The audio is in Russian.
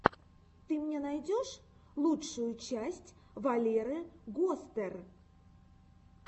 ты мне найдешь лучшую часть валеры гостер